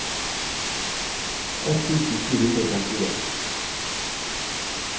ett tusen sju hundre og femtien